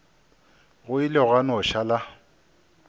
go ile gwa no šala